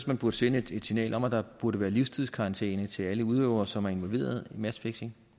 man burde sende et signal om at der burde være livstidskarantæne til alle udøvere som er involveret i matchfixing